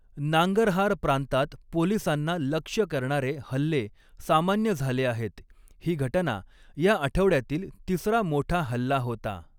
नांगरहार प्रांतात पोलिसांना लक्ष्य करणारे हल्ले सामान्य झाले आहेत, ही घटना या आठवड्यातील तिसरा मोठा हल्ला होता.